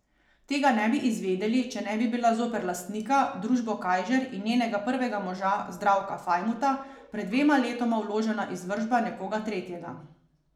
Tega ne bi izvedeli, če ne bi bila zoper lastnika, družbo Kajžer in njenega prvega moža Zdravka Fajmuta, pred dvema letoma vložena izvršba nekoga tretjega.